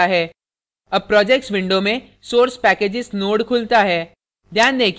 अब projects window में source packages node खुलता है